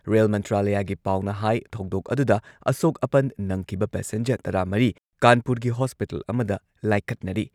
Rail ꯃꯟꯇ꯭ꯔꯥꯂꯌꯒꯤ ꯄꯥꯎꯅ ꯍꯥꯏ ꯊꯧꯗꯣꯛ ꯑꯗꯨꯗ ꯑꯁꯣꯛ-ꯑꯄꯟ ꯅꯪꯈꯤꯕ ꯄꯦꯁꯦꯟꯖꯔ ꯇꯔꯥꯃꯔꯤ ꯀꯥꯟꯄꯨꯔꯒꯤ ꯍꯣꯁꯄꯤꯇꯜ ꯑꯃꯗ ꯂꯥꯏꯀꯠꯅꯔꯤ꯫